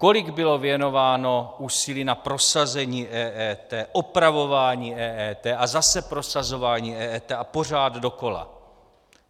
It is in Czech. Kolik bylo věnováno úsilí na prosazení EET, opravování EET a zase prosazování EET a pořád dokola?